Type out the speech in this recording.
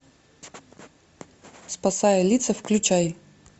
спасая лица включай